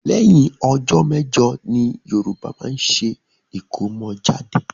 Lẹ́yìn ọjọ méjọ ni Yoruba máa ń ṣe ikọ́mọ́jade